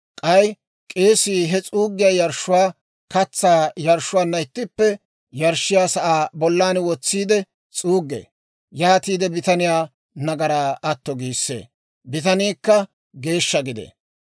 K'ay k'eesii he s'uuggiyaa yarshshuwaa katsaa yarshshuwaanna ittippe yarshshiyaa sa'aa bollan wotsiide s'uuggee; yaatiide bitaniyaa nagaraa atto giissee; bitaniikka geeshsha gidee.